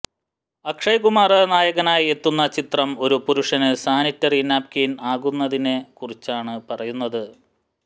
അക്ഷയ് കുമാര് നായകനായി എത്തുന്ന ചിത്രം ഒരു പുരുഷന് സാനിറ്ററി നാപ്കിന് ആകുന്നതിനെ കുറിച്ചാണ് പറയുന്നത്